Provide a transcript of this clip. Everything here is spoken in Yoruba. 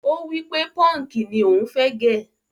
Ó wípé punki ni ò ń fẹ́ gẹ́.